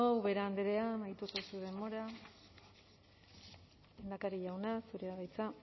ubera andra amaitu da zure denbora lehendakari jauna zurea da hitza